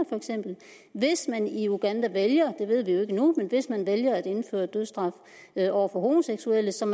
hvis man i uganda vælger det ved vi jo ikke endnu at indføre dødsstraf over for homoseksuelle som